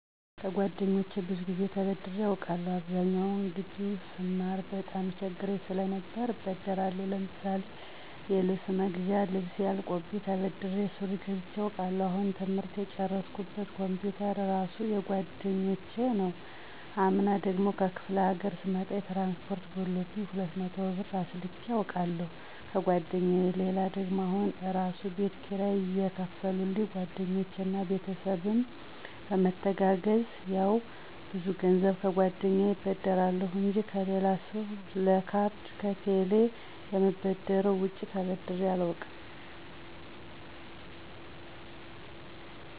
ከጓደኞቼ ብዙ ጊዜ ተበድሬ አውቃለሁ። አብዛኛውን ጊቢ ውስጥ ስማር በጣም ይቸግረኝ ሰለነበር እበደራለሁ። ለምሳሌ የልብስ መግዣ ልብሴ አልቆብኝ ተበድሬ ሱሪ ገዝቸ አውቃለሁ። አሁን ትምህርት የጨረስኩበት ኮምፒውተር እራሱ የጓደኞች ነው። አምና ደግሞ ከክፍለ ሀገር ስመጣ የትራንስፖርት ጎሎብኝ 200 ብር አስልኬ አውቃለሁ ከጓደኛየ። ሌላ ደግሞ አሁን እራሱ የቤት ኪራይ የከፈሉልኝ ጓደኞቼ እና ቤተሰብም በመተጋገዝ ነው። ያው ብዙ ገንዘብ ከጓደኛየ እበደራለሁ እንጂ ከሌላ ሰው ለካርድ ከቴሌ ከምበደረው ውጭ ተበድሬ አላውቅም።